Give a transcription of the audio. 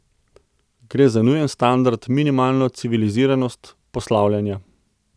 Gre za nujen standard, minimalno civiliziranost poslavljanja.